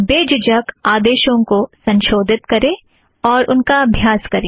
बेझिझक आदेशों को संशोधित करें और उनका अभ्यास करें